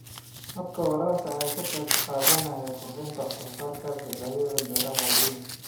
Habka waraabka ayaa ka qayb qaadanaya kordhinta wax soo saarka dalagga beeraha waaweyn.